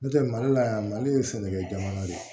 N'o tɛ mali la yan mali ye sɛnɛkɛ ye